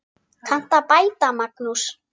Kanntu að bæta, Magnús?